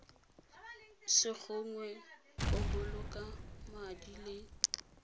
segongwe go boloka madi le